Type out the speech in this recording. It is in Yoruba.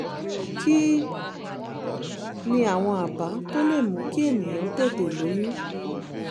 kí ni àwọn àbá tó lè mú kí ènìyàn tètè lóyún?